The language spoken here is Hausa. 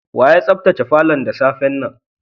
Wa ya sabtace falon da safe'n nan?